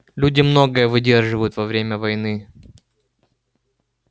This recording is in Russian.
люди многое выдерживают во время войны